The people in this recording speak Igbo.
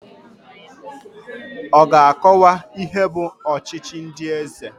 Ọ ga-akọwa ihe bụ ọchịchị ndị eze?